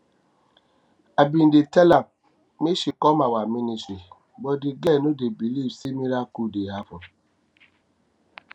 i bin dey tell am make she come our ministry but the girl no dey believe say miracle dey happen